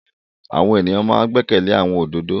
Àwọn èyàn ma n gbẹ́kẹ̀lé àwọn olódodo.